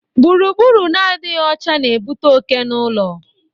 Gburugburu na-adịghị ọcha na-ebute oke n'ulo